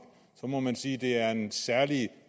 så må man sige at det er en særlig